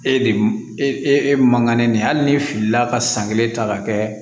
E de e e mankan ne ye hali ni fili la ka san kelen ta ka kɛ